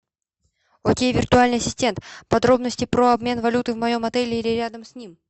окей виртуальный ассистент подробности про обмен валюты в моем отеле или рядом с ним